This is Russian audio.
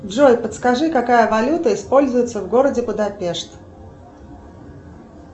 джой подскажи какая валюта используется в городе будапешт